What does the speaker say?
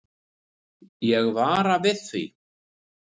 Ég vara við því.